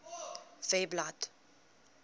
webblad